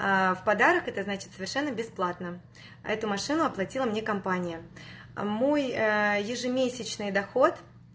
в подарок значит совершенно бесплатно эту машину оплатила мне компания мой ежемесячный доход